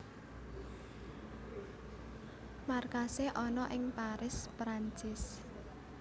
Markasé ana ing Paris Perancis